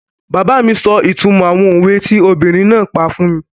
Bàbá mi sọ ìtumọ̀ àwọn òwe tí obìnrin náà pa fún mi